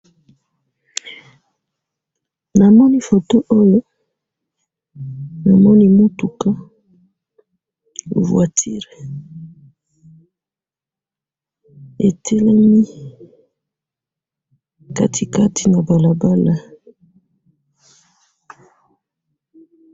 na moni photo oyo na moni mutuka voiture etelemi katikati na balabal